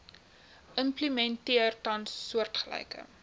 implementeer tans soortgelyke